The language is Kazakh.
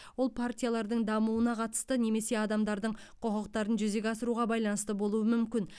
ол партиялардың дамуына қатысты немесе адамдардың құқықтарын жүзеге асыруға байланысты болуы мүмкін